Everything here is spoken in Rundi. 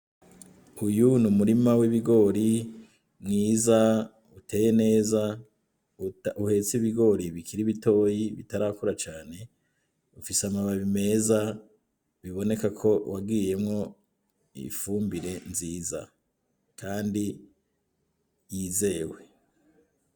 Uyu n'umurima w'ibigori mwiza uteye neza uhetse ibigori bikiri bitoya bitarakura cane bifise amababi meza biboneka ko wagiyemwo ifumbire nziza kandi yizewe.